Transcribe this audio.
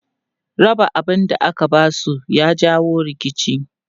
Raba abun da aka ba su ya jawo rikici.